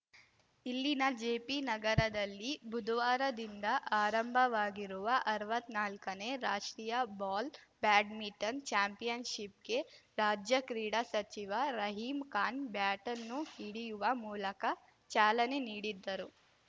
ಇಲ್ಲಿನ ಜೆಪಿ ನಗರದಲ್ಲಿ ಬುಧವಾರದಿಂದ ಆರಂಭವಾಗಿರುವ ಅರ್ವತ್ನಾಲ್ಕನೇ ರಾಷ್ಟ್ರೀಯ ಬಾಲ್‌ ಬ್ಯಾಡ್ಮಿಂಟನ್‌ ಚಾಂಪಿಯನ್‌ಶಿಪ್‌ಗೆ ರಾಜ್ಯ ಕ್ರೀಡಾ ಸಚಿವ ರಹೀಂ ಖಾನ್‌ ಬ್ಯಾಟನ್‌ ಹಿಡಿಯುವ ಮೂಲಕ ಚಾಲನೆ ನೀಡಿದ್ದರು